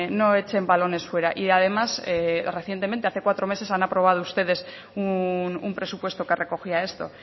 no echen balones fuera y además recientemente hace cuatro meses han aprobado ustedes un presupuesto que recogía esto